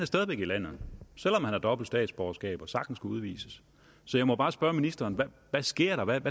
stadig væk i landet selv om han har dobbelt statsborgerskab og sagtens kunne udvises så jeg må bare spørge ministeren hvad sker der hvad